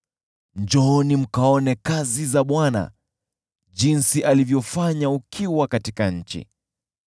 Njooni mkaone kazi za Bwana jinsi alivyofanya ukiwa katika nchi.